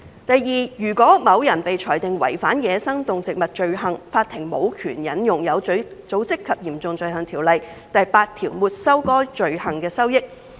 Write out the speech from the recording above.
第二，如果某人被裁定違反走私野生動植物罪行，法庭無權援引《有組織及嚴重罪行條例》第8條沒收該罪行的收益。